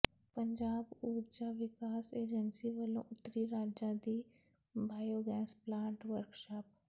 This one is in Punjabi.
ਪੰਜਾਬ ਊਰਜਾ ਵਿਕਾਸ ਏਜੰਸੀ ਵੱਲੋਂ ਉੱਤਰੀ ਰਾਜਾਂ ਦੀ ਬਾਇਓ ਗੈਸ ਪਲਾਂਟ ਵਰਕਸ਼ਾਪ